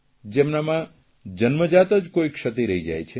જેમનામાં જન્મજાત જ કોઇ ક્ષતિ રહી જાય છે